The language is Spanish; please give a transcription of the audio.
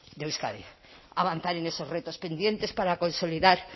de euskadi avanzar en esos retos pendientes para consolidar